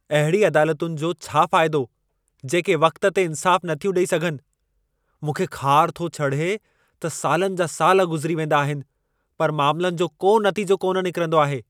अहिड़ी अदालतुनि जो छा फ़ाइदो जेके वक़्तु ते इंसाफ़ु नथियूं ॾेई सघनि। मूंखे ख़ारु थो चढे़ त सालनि जा साल गुज़िरी वेंदा आहिनि, पर मामलनि जो को नतीजो कोन निकिरंदो आहे।